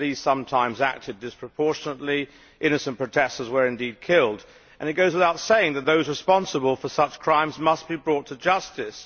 The police sometimes acted disproportionately, innocent protestors were indeed killed and it goes without saying that those responsible for such crimes must be brought to justice.